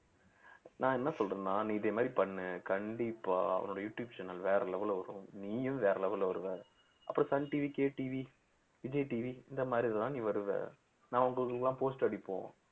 நான் என்ன சொல்றேன்னா நீ இதே மாதிரி பண்ணு கண்டிப்பா உன்னோட யூடுயூப் channel வேற level ல வரும் நீயும் வேற level ல வருவ அப்புறம் Sun TV, K TV, Vijay TV, இந்த மாதிரிதான் நீ வருவ நான் உங்களுக்கு எல்லாம் poster அடிப்போம்